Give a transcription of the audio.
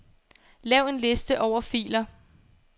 Lav en liste over filer.